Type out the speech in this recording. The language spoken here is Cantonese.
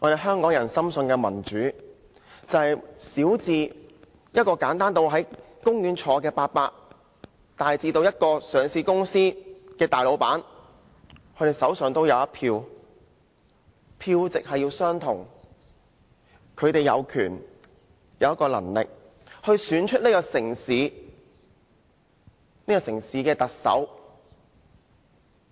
香港人深信的民主，便是小至一位坐在公園的長者，大至上市公司的老闆，各人手上均有一票，票值相同，他們有權利、有能力選出這個城市的特首。